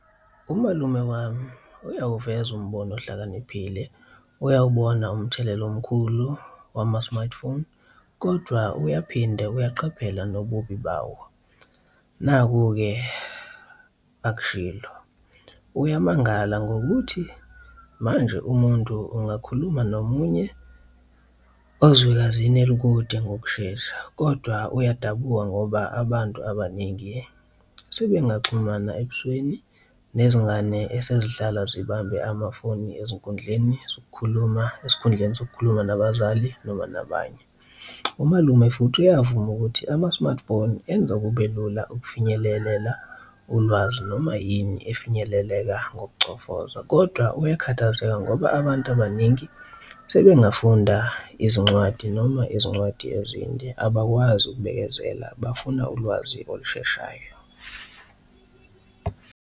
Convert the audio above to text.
Umalume wami uyawuveza umbono ohlakaniphile, uyawubona umthelela omkhulu wama-smartphone, kodwa uyaphinde uyaqaphela nobubi bawo. Naku-ke akushilo, uyamangala ngokuthi manje umuntu ungakhuluma nomunye, ozwekazini olukude ngokushesha, kodwa uyadabuka ngoba abantu abaningi sebengaxhumana ebusweni nezingane esezihlala zibambe amafoni ezinkundleni sokukhuluma esikhundleni sokukhuluma nabazali noma nabanye. Umalume futhi iyavuma ukuthi ama-smartphone enza kube lula ukufinyelelela ulwazi noma yini efinyeleleka ngokucofozwa. Kodwa uyakhathazeka ngoba abantu abaningi sebengafunda izincwadi noma izincwadi ezinde abakwazi ukubekezela bafuna ulwazi olusheshayo.